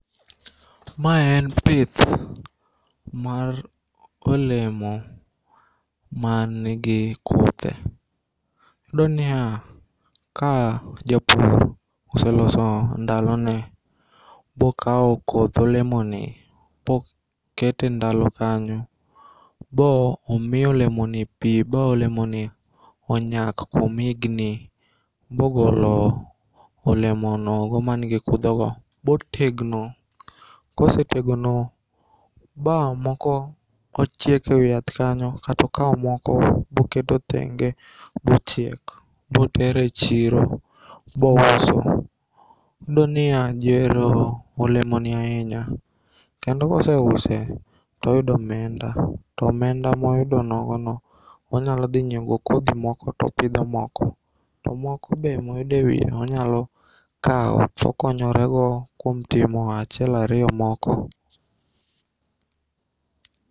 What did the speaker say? Ma en pith mar olemo manigi kuthe. Iyudo nia ka japur oselose ndalo ne bokao koth olemo ni bokete ndalo kanyo bo omiyo olemo ni pi bo olemo ni onyak kuom igni bogolo olemo nogo manigi kudho go botegno. Kosetegno bamoko ochiek e wi yath kanyo kata okao moko boketo thenge bochiek botere chiro bouso. Iyudo nia ji ohero olemo ni ahinya, kendo koseuse toyudo omenda, to omenda moyudo nogono onyalo dhi ng'iew go kodhi moko to opidho moko. To moko be moyudo e wie onyalo kao tokonyore go kuom timo achiel ariyo moko.